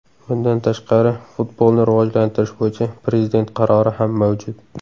Bundan tashqari, futbolni rivojlantirish bo‘yicha Prezident qarori ham mavjud.